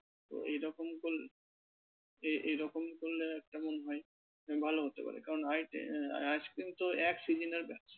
তো এই রকম কর~ এই এই এরকম করলে কেমন হয়? ভালো হতে পারে কারণ ice cream তো এক season ব্যাপার।